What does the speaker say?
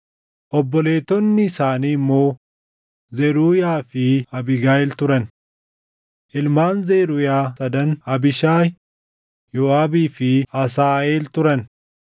Obboleettonni isaanii immoo Zeruuyaa fi Abiigayiil turan. Ilmaan Zeruuyaa sadan Abiishaayi, Yooʼaabii fi Asaaheel turan.